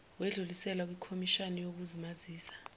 wedluliselwa kwikhomishani yokuzimazisa